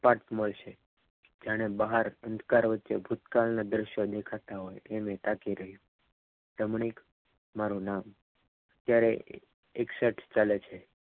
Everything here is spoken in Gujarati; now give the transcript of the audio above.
બોધપાઠ મળશે જાણે બહાર ભૂતકાળના વચ્ચે ભૂતકાળના દર્શન દેખાતા હોય તેને તાકી રહ્યો રમણીક મારું નામ ક્યારેક એક સર્ચ ચાલે છે